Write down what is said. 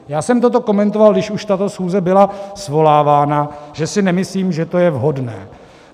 Já jsem toto komentoval, když už tato schůze byla svolávána, že si nemyslím, že to je vhodné.